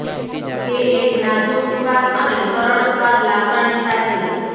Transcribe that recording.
તે એક નાજુક સુવાસ અને સરળ સ્વાદ લાક્ષણિકતા છે